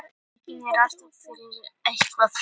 Einnig er alltaf fyrir hendi hættan á kjarnorkuslysum.